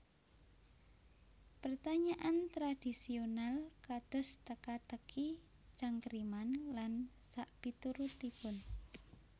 Pertanyaan tradhisional kados teka teki cangkriman lan sakpiturutipun